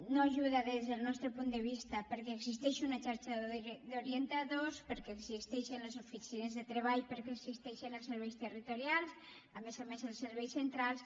no ajuda des del nostre punt de vista perquè existeix una xarxa d’orientadors perquè existeixen les oficines de treball perquè existeixen els serveis territorials a més a més els serveis centrals